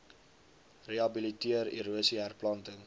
rehabiliteer erosie herplanting